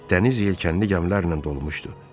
Dəniz yelkənli gəmilərlə dolmuşdu.